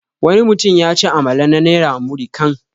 Wani mutum yaci amalam na naira 'Muri kan'.